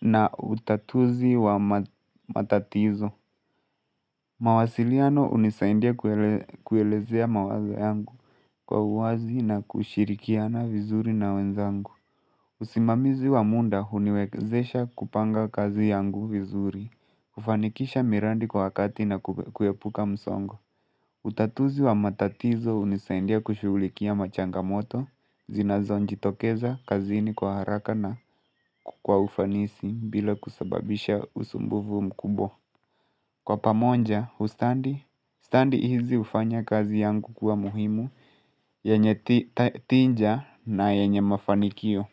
na utatuzi wa matatizo. Mawasiliano hunisaindia kuelezea mawaza yangu kwa uwazi na kushirikiana vizuri na wenzangu. Usimamizi wamuda huniwezesha kupanga kazi yangu vizuri, kufanikisha miradi kwa wakati na kuepuka msongo. Utatuzi wa matatizo hunisedia kushughulikia machangamoto, zinazo jitokeza kazini kwa haraka na kwa ufanisi bila kusababisha usumbuvu mkubwa. Kwa pamoja, ustadhi, ustadhi hizi hufanya kazi yangu kuwa muhimu, yenye tija na yenye mafanikio.